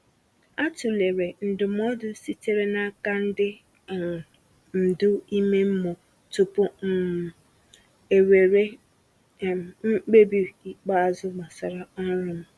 A tụlere ndụmọdụ sitere n’aka ndị um ndu ime mmụọ tupu m um ewere um mkpebi ikpeazụ gbasara ọrụ m.